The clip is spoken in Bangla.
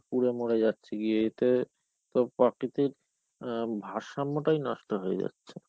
পুড়ে মরে যাচ্ছে গিয়ে এতে তো প্রকৃতির ইয়ে ভারসাম্যটাই নষ্ঠ হয়ে যাচ্ছে.